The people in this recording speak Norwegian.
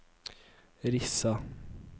Rissa